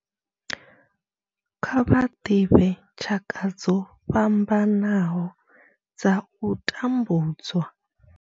Kha vha ḓivhe tshaka dzo fhambanaho dza u tambudzwa.